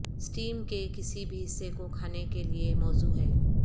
steam کے کسی بھی حصے کو کھانے کے لئے موزوں ہے